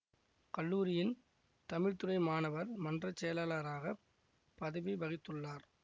கல்லூரியின் தமிழ்த்துறை மாணவர் மன்றச் செயலாளராகப் பதவி வகித்துள்ளார்